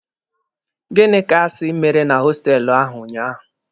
Gịnị ka a si mere na hostelụ ahụ unyaahụ?